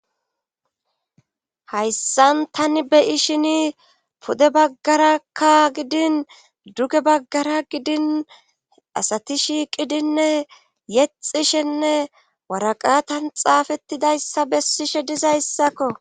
Hayssan tani beyishini pude baggarakka gidin duge baggara gidin asati shiiqidinne yexishenne waraqatan xaafettidayssa besishe dizayssakko.